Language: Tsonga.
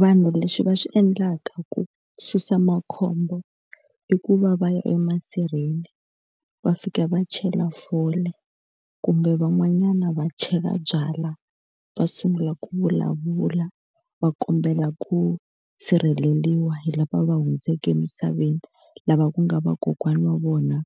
Vanhu leswi va swi endlaka ku susa makhombo i ku va va ya emasirheni va fika va chela fole, kumbe van'wanyana va chela byalwa, va sungula ku vulavula, va kombela ku sirheleriwa hi lava va hundzeke emisaveni lava ku nga vakokwana wa vona